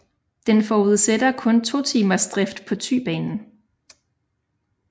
Den forudsætter kun totimersdrift på Thybanen